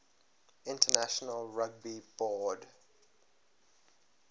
international rugby board